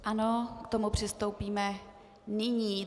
Ano, k tomu přistoupíme nyní.